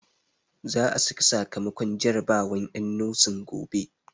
Za a saki sakamakon jarabawan en nosin gobe